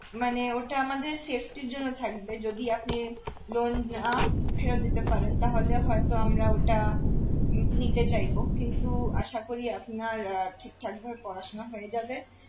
মানে ওটা আমাদের safety র জন্য থাকবে যদি আপনি loan না ফেরত দিতে পারেন তাহলে হয়ত আমরা ওটা নিতে চাইব কিন্তু আশা করি আপনার আহ ঠিকঠাক ভাবে পড়াশুনা হয়ে যাবে